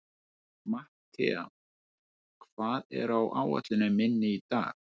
Mattea, hvað er á áætluninni minni í dag?